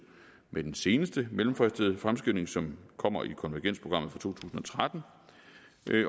med den seneste mellemfristede fremskynding som kommer i konvergensprogrammet for to tusind og tretten